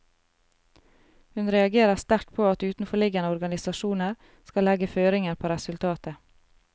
Hun reagerer sterkt på at utenforliggende organisasjoner skal legge føringer på resultatet.